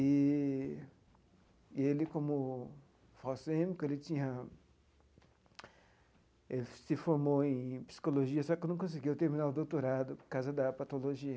Eee e ele, como falcêmico, ele tinha ele se formou em Psicologia, só que não conseguiu terminar o doutorado por causa da patologia.